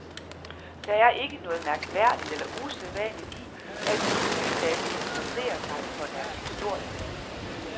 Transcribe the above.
Der er ikke noget mærkværdigt eller usædvanligt i, at de nye lande interesserer sig for deres historie.